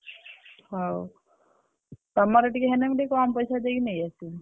ହଉ ତମର ଟିକେ ହେଲେ କମ୍ ପଇସା ଦେଇ ନେଇଆସିବି।